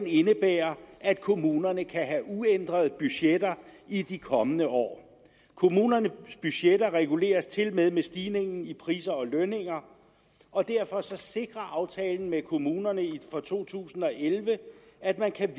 indebærer at kommunerne kan have uændrede budgetter i de kommende år kommunernes budgetter reguleres tilmed med stigningen i priser og lønninger og derfor sikrer aftalen med kommunerne for to tusind og elleve at man kan